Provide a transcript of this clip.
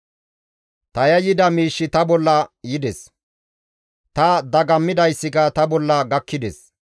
Ta yayyida miish ta bolla yides; ta dagammidayssika ta bolla gakkides.